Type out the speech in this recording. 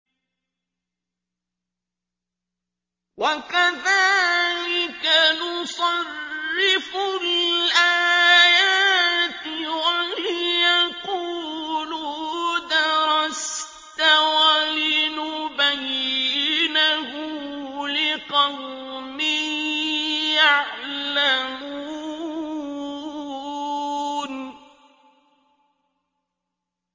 وَكَذَٰلِكَ نُصَرِّفُ الْآيَاتِ وَلِيَقُولُوا دَرَسْتَ وَلِنُبَيِّنَهُ لِقَوْمٍ يَعْلَمُونَ